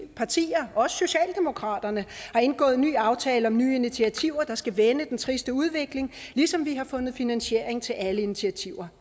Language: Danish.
partier også socialdemokraterne har indgået en ny aftale om nye initiativer der skal vende den triste udvikling ligesom vi har fundet finansiering til alle initiativer